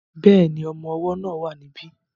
Bẹ́ẹ̀ni, ọmọ ọwọ́ náà wà ní bí